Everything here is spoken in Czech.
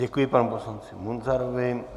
Děkuji panu poslanci Munzarovi.